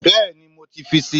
Bẹ́ẹ̀ni, mo ti fi si